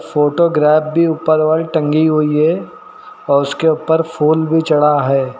Photograph भी ऊपर वाली टंगी हुई है और उसके ऊपर फुल भी चढ़ा है।